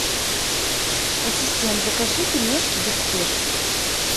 ассистент закажи пельмешки без спешки